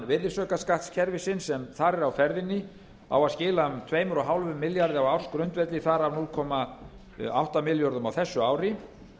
virðisaukaskattskerfisins sem þar er á ferðinni á að skila um tvö og hálfum milljarði á ársgrundvelli þar af núll komma átta milljörðum á þessu ári